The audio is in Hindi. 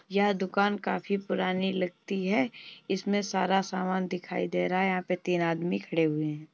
यह दुकान काफी पुरानी लगती है। इसमें सारा सामान दिखाई दे रहा है। यहां पे तीन आदमी खड़े हुए हैं।